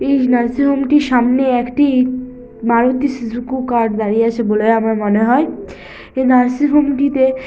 এই nursing home -টির সামনে একটি মারুতি সিজুকু কার দাড়িয়ে আছে বলে আমার মনে হয় । এই নার্সিং হোম -টিতে--